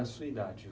A sua idade?